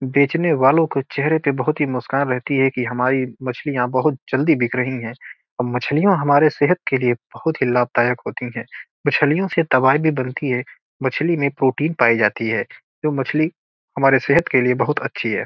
बेचने वालो के चेहरे पर बहुत ही मुस्कान रहती है कि हमारी मच्छलियाँ बहुत जल्दी बिक रही है और मछलियां हमारे सेहत के लिए बहुत ही लाभदायक होती है मच्छलियों से दवाई भी बनती है मछलियों में प्रोटीन पाई जाती है जो मच्छली हमारे सेहत के लिए बहुत अच्छी है।